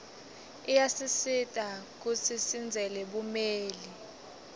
iyaasisita kuiji sindzele bumeli